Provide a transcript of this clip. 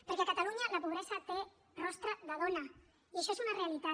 perquè a catalunya la pobresa té rostre de dona i això és una realitat